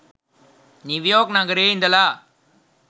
New York නගරයේ ඉඳලා.